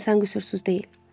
İnsan qüsursuz deyil.